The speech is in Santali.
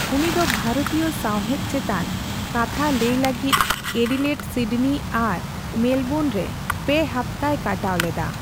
ᱩᱱᱤ ᱫᱚ ᱵᱷᱟᱨᱚᱛᱤᱭᱚ ᱥᱟᱣᱦᱮᱫ ᱪᱮᱛᱟᱱ ᱠᱟᱛᱷᱟ ᱞᱟᱹᱭ ᱞᱟᱹᱜᱤᱫ ᱮᱰᱤᱞᱮᱰ, ᱥᱤᱰᱱᱤ ᱟᱨ ᱢᱮᱞᱵᱚᱨᱱ ᱨᱮ ᱯᱮ ᱦᱟᱯᱛᱟᱭ ᱠᱟᱴᱟᱣ ᱞᱮᱫᱟ ᱾